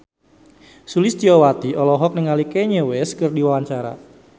Sulistyowati olohok ningali Kanye West keur diwawancara